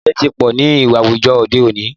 Ìwàìbàjẹ́ tí pọ̀ ní àwùjọ òde òní.